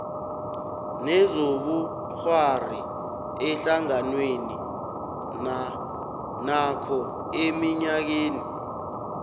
kezobukghwari ehlanganwenakho eminyakeni